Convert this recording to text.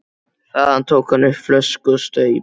Þaðan tók hann upp flösku og staup.